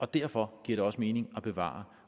derfor giver det også mening at bevare